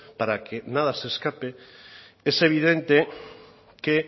para que nada se escape es evidente que